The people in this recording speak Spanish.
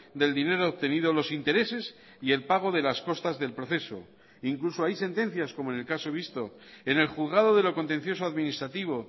del dinero obtenido los intereses y el pago de las costas del proceso incluso hay sentencias como en el caso visto en el juzgado de lo contencioso administrativo